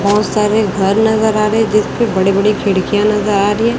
बहुत सारे घर नजर आ रहे जिसपे बड़े बड़े खिड़कियां नजर आ रही है।